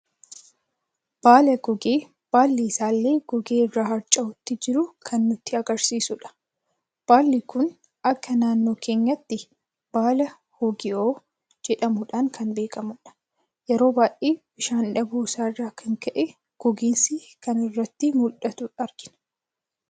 Baala gogee baalli isaallee gogee irra harca'uutti jiru kan nutti agarsiisuudha. baalli kun akka naannoi keenyatti baala hogii'oo jedhamuudhan kan beekamudha. Yeroo baay'eee bishaan dhabuu isarra kan ka'e gogiinsi kan irratti muldhatu argina